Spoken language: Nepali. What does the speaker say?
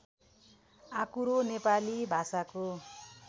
आँकुरो नेपाली भाषाको